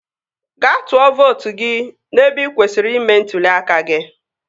Gaa tụọ vootu gị n'ebe ị kwesịrị ime ntụli aka gị